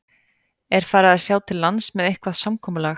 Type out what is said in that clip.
Er farið að sjá til lands með eitthvað samkomulag?